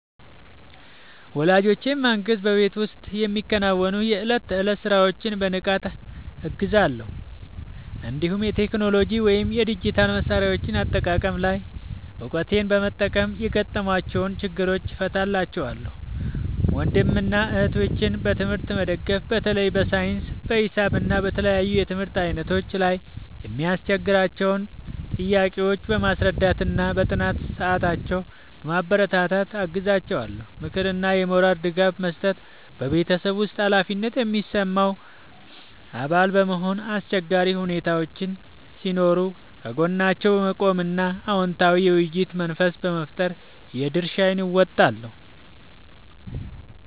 ወላጆቼን ማገዝ በቤት ውስጥ የሚከናወኑ የዕለት ተዕለት ሥራዎችን በንቃት እገዛለሁ፤ እንዲሁም የቴክኖሎጂ ወይም የዲጂታል መሣሪያዎች አጠቃቀም ላይ እውቀቴን በመጠቀም የገጠሟቸውን ችግሮች እፈታላቸዋለሁ። ወንድምና እህቶቼን በትምህርት መደገፍ በተለይ በሳይንስ፣ በሂሳብ እና በተለያዩ የትምህርት ዓይነቶች ላይ የሚያስቸግሯቸውን ጥያቄዎች በማስረዳትና በጥናት ሰዓታቸው በማበረታታት አግዛቸዋለሁ። ምክርና የሞራል ድጋፍ መስጠት በቤተሰብ ውስጥ ኃላፊነት የሚሰማው አባል በመሆን፣ አስቸጋሪ ሁኔታዎች ሲኖሩ ከጎናቸው በመቆም እና አዎንታዊ የውይይት መንፈስ በመፍጠር የድርሻዬን እወጣለሁ።